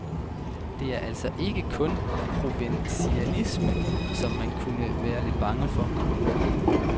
Det er altså ikke kun en provinsialisme, som man kunne være lidt bange for.